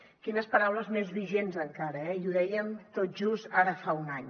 quines paraules més vigents encara eh i ho dèiem tot just ara fa un any